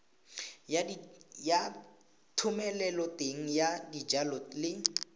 ya thomeloteng ya dijalo le